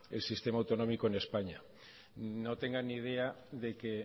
el sistema autonómico en españa no tenga ni idea de que